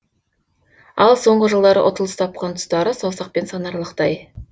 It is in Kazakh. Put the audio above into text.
ал соңғы жылдары ұтылыс тапқан тұстары саусақпен санаралықтай